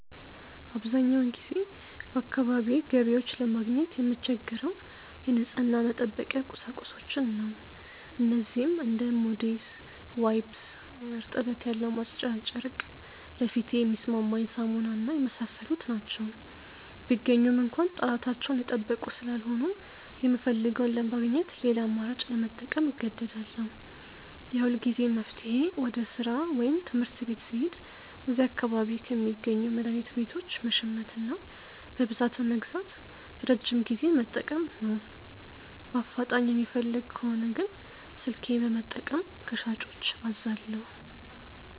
አብዛኛውን ጊዜ በአካባቢዬ ገበያዎች ለማግኘት የምቸገረው የንጽህና መጠበቂያ ቁሳቁሶችን ነው። እነዚህም እንደ ሞዴስ፣ ዋይፕስ (እርጥበት ያለው ማጽጃ ጨርቅ)፣ ለፊቴ የሚስማማኝ ሳሙና እና የመሳሰሉት ናቸው። ቢገኙም እንኳ ጥራታቸውን የጠበቁ ስላልሆኑ፣ የምፈልገውን ለማግኘት ሌላ አማራጭ ለመጠቀም እገደዳለሁ። የሁልጊዜም መፍትሄዬ ወደ ሥራ ወይም ትምህርት ቤት ስሄድ እዚያ አካባቢ ከሚገኙ መድኃኒት ቤቶች መሸመትና በብዛት በመግዛት ለረጅም ጊዜ መጠቀም ነው። በአፋጣኝ የምፈልግ ከሆነ ግን ስልኬን በመጠቀም ከሻጮች አዛለሁ።